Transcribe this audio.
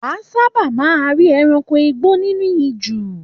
Wà a sábà máa rí ẹranko igbó nínú ijù.